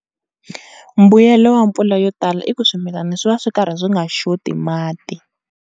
Mbuyelo wa mpfula yo tala i ku swimilana swi va swi karhi swi nga xoti mati.